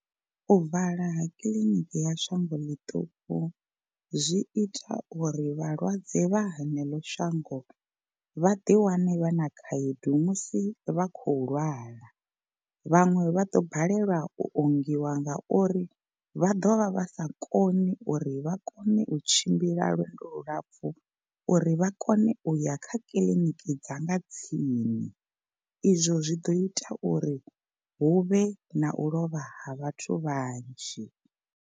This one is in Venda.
U vala ha kiḽiniki ya shango ḽiṱuku zwi ita uri vhalwadze vha heneḽo shango vha ḓi wane vha na khaedu musi vha khou lwala. Vhaṅwe vha ḓo balelwa u ongiwa nga uri vha ḓovha vha sa koni uri vha kone u tshimbila lwendo lu lapfhu u ri vha kone uya kha kiḽiniki dza nga tsini. Izwo zwi ḓo ita uri hu vhe na u lovha ha vhathu vhanzhi.